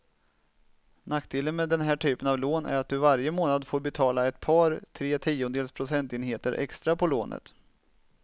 Nackdelen med den här typen av lån är att du varje månad får betala ett par, tre tiondels procentenheter extra på lånet.